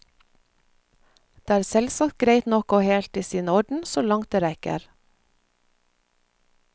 Det er selvsagt greit nok og helt i sin orden, så langt det rekker.